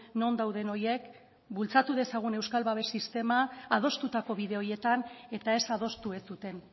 non dauden horiek bultzatu dezagun euskal babes sistema adostutako bide horietan eta ez adostu ez duten